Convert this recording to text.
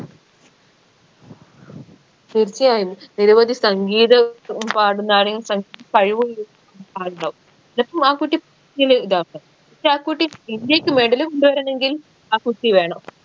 തീർച്ചയായും നിരവധി സംഗീത ഉം പാടുന്ന ആരെങ്കി സ കഴിവുള്ള ആളുണ്ടാവും പക്ഷെ ആ കുട്ടി ഇന്ത്യക്ക് medal കൊണ്ടുവരണെങ്കിൽ ആ കുട്ടി വേണം